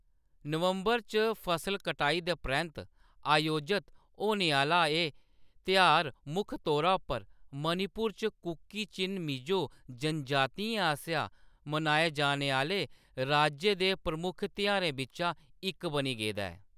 नवंबर च फसल कटाई दे परैंत्त आयोजत होने आह्‌ला एह् तेहार मुक्ख तौरा पर मणिपुर च कुकी-चिन-मिज़ो जनजातियें आसेआ मनाए जाने आह्‌‌‌ले राज्य दे प्रमुख तेहारें बिच्चा इक बनी गेदा ऐ।